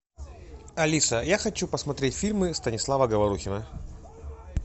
алиса я хочу посмотреть фильмы станислава говорухина